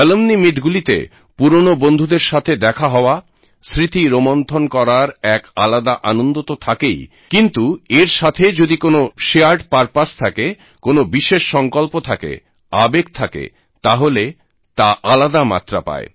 alumni meet গুলিতে পুরোনো বন্ধুদের সাথে দেখা হওয়া স্মৃতি রোমন্থন করার এক আলাদা আনন্দ তো থাকেই কিন্তু এর সাথে যদি কোনো শেয়ার্ড পারপাস থাকে কোনো বিশেষ সংকল্প থাকে আবেগ থাকে তাহলে তা আলাদা মাত্রা পায়